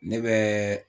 Ne bɛ